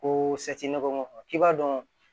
Ko k'i b'a dɔn